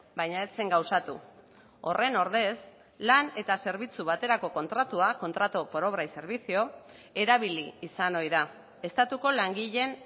baina ez zen gauzatu horren ordez lan eta zerbitzu baterako kontratua contrato por obra y servicio erabili izan ohi da estatuko langileen